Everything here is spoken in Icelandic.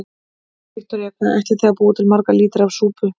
Viktoría: Hvað ætlið þið að búa til marga lítra af súpu?